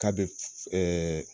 K'a be ɛɛ